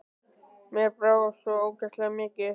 Mér brá bara svo ógeðslega mikið.